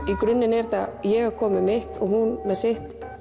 í grunninn er þetta ég að koma með mitt og hún með sitt